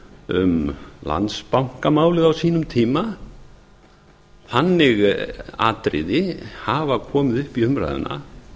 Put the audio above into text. um landsbankamálið á sínum tíma þannig atriði hafa komið upp í umræðuna